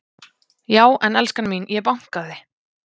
Já en elskan mín. ég bankaði!